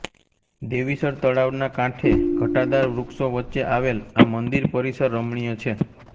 દેવીસર તળાવના કાંઠે ઘટાદાર વૃક્ષો વચ્ચે આવેલ આ મંદિર પરિસર રમણીય છે